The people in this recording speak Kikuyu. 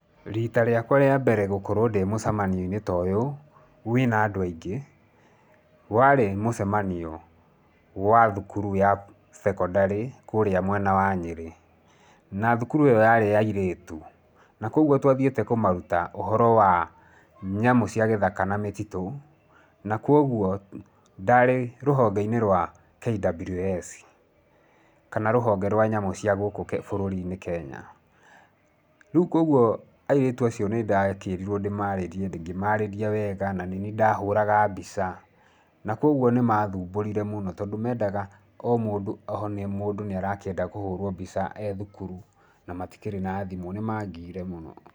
Rita rĩakwa rĩa mbere gũkorũo ndĩ mũcemanio-inĩ ta ũyũ, wĩna andũ aingĩ, warĩ mũcemanio wa thukuru ya thekondarĩ kũrĩa mwena wa Nyĩrĩ. Na thukuru ĩyo yarĩ ya airĩtu. Na kuoguo tũathiĩte kũmaruta ũhoro wa, nyamũ cia githaka na mĩtitũ, na kuoguo, ndarĩ rũhonge-inĩ rwa KWS, kana rũhonge rwa nyamũ cia gĩkũ bũrũri-inĩ Kenya. Rĩu kuoguo, airĩtu acio nĩndakĩrirũo ndĩmarĩrie, ngĩmarĩria wega, na nĩniĩ ndahũraga mbica, na kuoguo nĩmathumburire mũno, tondũ mendaga o mũndũ o mũndũ nĩarakĩenda kũhũrũo mbica e thukuru, na matikĩrĩ na thimũ, nĩmangiire mũno.